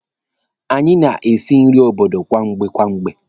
Anyị na-esi nri obodo kwamgbe kwamgbe.